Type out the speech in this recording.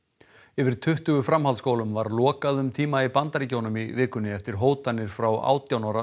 yfir tuttugu framhaldsskólum var lokað um tíma í Bandaríkjunum í vikunni eftir hótanir frá átján ára